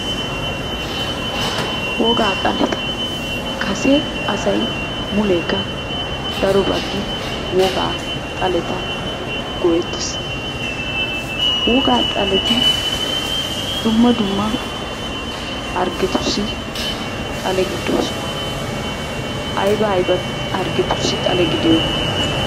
Wogaa xaleta. Kase asay muleekka daro baggi wogaa xaleta go'ettes. Wogaa xaleti dumma dumma hargetussi xale gidoosona. Ayba ayba hargetussi xale gidiyonaa?